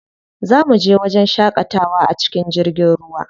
Za muje wajen shaƙatawa a cikin jirgin ruwa.